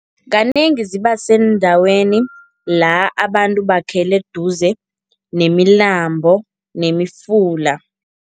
Kanengi zibaseendaweni la abantu bakhele duze nemilambo nemifula.